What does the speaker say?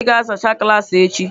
Ị ga-azachaa klaasị echi.